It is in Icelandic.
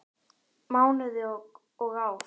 Mánuði og ár.